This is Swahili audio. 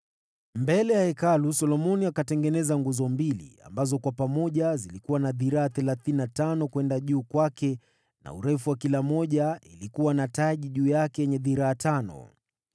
Mbele ya Hekalu Solomoni akatengeneza nguzo mbili, ambazo kwa pamoja zilikuwa na dhiraa thelathini na tano kwenda juu kwake, na urefu wa kila moja ilikuwa na taji juu yake yenye dhiraa tano.